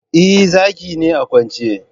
Eh, Zaki ne a kwance